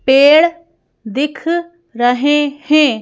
पेड़ दिख रहे हैं।